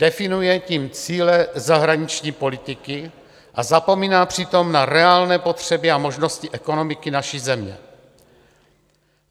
Definuje tím cíle zahraniční politiky a zapomíná přitom na reálné potřeby a možnosti ekonomiky naší země.